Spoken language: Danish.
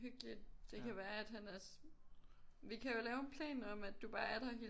Hyggeligt det kan være at han også vi kan jo lave en plan om at du bare er der hele